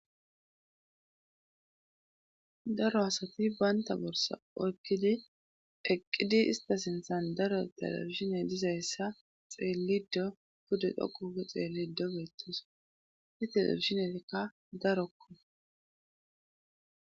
Daro asati baynta borsa oykkidi eqqidi ista sinthan daro telefishine dizayssa xeelido pude qhoqufe xeelli dobeettos hetelefshineikka darokko.